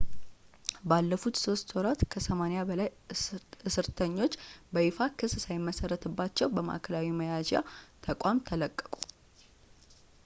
ባለፉት 3 ወራት ከ80 በላይ እስርተኞች በይፋ ክስ ሳይመሰረትባቸው ከማዕከላዊ መያዣ ተቋም ተለቀቁ